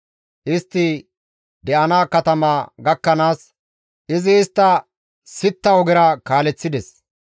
Istti de7ana katama gakkanaas, izi istta sitta ogera kaaleththides.